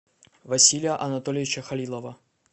василия анатольевича халилова